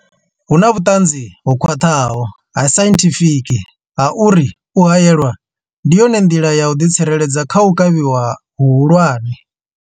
Huna vhuṱanzi ho khwaṱhaho ha sainthifiki ha uri u haelwa ndi yone nḓila ya u ḓi tsireledza kha u kavhiwa hu hulwane.